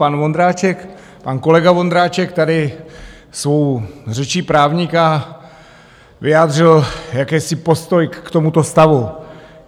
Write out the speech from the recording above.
Pan Vondráček, pan kolega Vondráček, tady svou řečí právníka vyjádřil jakýsi postoj k tomuto stavu.